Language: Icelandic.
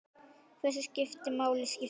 Hversu miklu máli skiptir það?